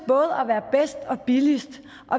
at og billigst